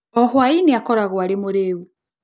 O hwaĩ-inĩ akoragwo arĩ mũrĩĩu.